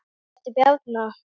Manstu nokkuð eftir Bjarna?